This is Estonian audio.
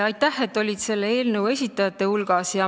Aitäh, et sa olid selle eelnõu esitajate hulgas!